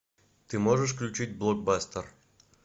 ты можешь включить блокбастер